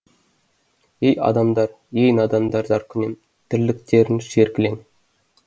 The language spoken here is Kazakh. ей адамдар ей надандар заркүнем тірліктерің шер кілең